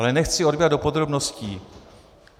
Ale nechci zabíhat do podrobností.